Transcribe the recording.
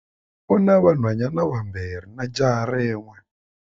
U na vanhwanyana vambirhi na jaha rin'we.